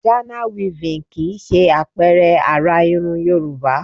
Ghana weaving kì í ṣe àpẹẹrẹ àrà irun Yorùbá